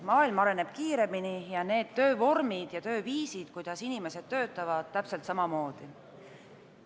Maailm areneb kiiremini ning töövormid ja tööviisid täpselt samamoodi.